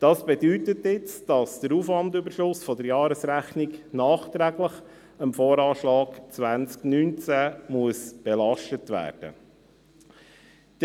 Dies bedeutet nun, dass der Aufwandüberschuss der Jahresrechnung nachträglich dem VA 2019 belastet werden muss.